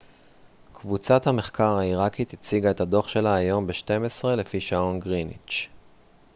קבוצת המחקר העיראקית הציגה את הדוח שלה היום ב-12:00 לפי שעון גריניץ'